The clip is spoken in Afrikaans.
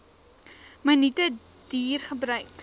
minute duur gebruik